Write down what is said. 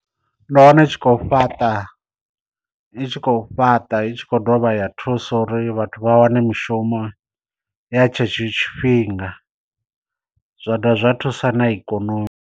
Ndo wana i tshi khou fhaṱa i tshi khou fhaṱa i tshi khou dovha ya thuso uri vhathu vha wane mishumo ya tshe tsho tshifhinga zwa dovha zwa thusa na ikonomi.